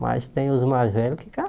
Mas tem os mais velhos que